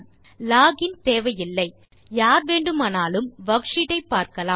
login தேவையில்லை யார் வேண்டுமானாலும் வர்க்ஷீட் ஐ பார்க்கலாம்